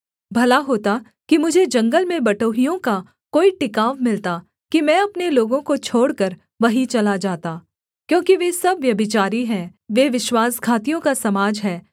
भला होता कि मुझे जंगल में बटोहियों का कोई टिकाव मिलता कि मैं अपने लोगों को छोड़कर वहीं चला जाता क्योंकि वे सब व्यभिचारी हैं वे विश्वासघातियों का समाज हैं